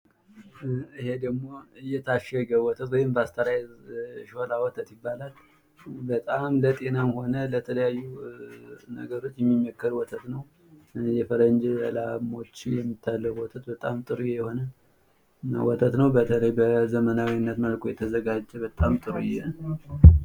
ይሄ ደሞ የታሸገ ወተትወይም ፐስቸራይዝድ ሾላ ወተት ይባላል። በጣም ለጤናም ሆነ ለተለያዩ ነገሮች የሚመከር ወተት ነው። የፈረጅ ላሞች የሚታለብ ወተት በጣም ጥሩ የሆነ ወተት ነው። በተለይ በዘመናዊነት መልኩ የተዘጋጀ በጣም ጥሩ ነው።